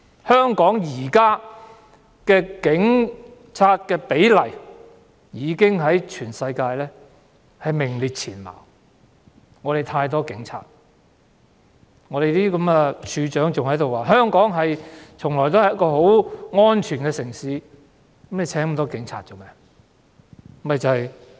香港現時的警民比例在全世界已名列前茅，我們有太多警察，處長還在說香港從來都是很安全的城市，那麼聘請那麼多警察來做甚麼？